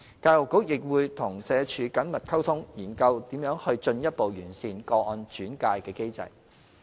教育局亦會與社署緊密溝通，研究如何進一步完善個案轉介的機制。